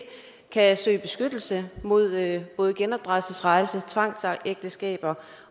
kan søge beskyttelse mod både genopdragelsesrejser tvangsægteskaber